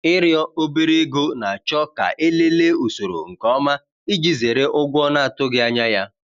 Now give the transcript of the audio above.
Ịrịọ obere ego na-achọ ka e lelee usoro nke ọma iji zere ụgwọ na-atụghị anya ya.